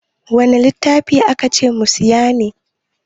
Wanne littattafai aka ce mu saya ne?